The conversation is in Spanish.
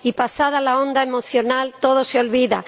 Y, pasada la onda emocional, todo se olvida.